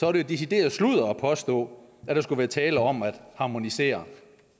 er det decideret sludder at påstå at der skulle være tale om at harmonisere